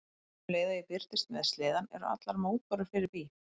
Um leið og ég birtist með sleðann eru allar mótbárur fyrir bí.